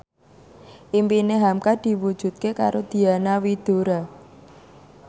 impine hamka diwujudke karo Diana Widoera